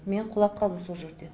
мен құлап қалдым сол жерде